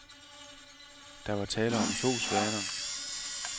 Der var tale om to svaner.